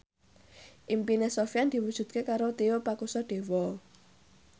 impine Sofyan diwujudke karo Tio Pakusadewo